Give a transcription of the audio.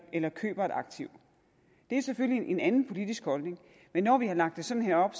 eller køber et aktiv det er selvfølgelig en anden politisk holdning men når vi har lagt det sådan her op